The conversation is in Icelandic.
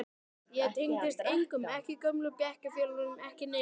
Ég tengdist engum, ekki gömlu bekkjarfélögunum, ekki neinum.